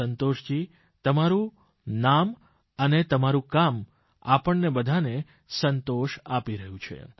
સંતોષજી તમારૂં નામ અને તમારૂં કામ આપણને બધાને સંતોષ આપી રહ્યું છે